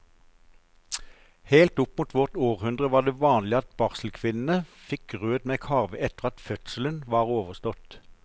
Helt opp mot vårt århundre var det vanlig at barselkvinnene fikk grøt med karve etter at fødselen var overstått.